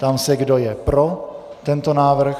Ptám se, kdo je pro tento návrh.